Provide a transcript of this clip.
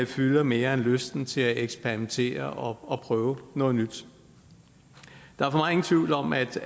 fylder mere end lysten til at eksperimentere og prøve noget nyt der er for mig ingen tvivl om at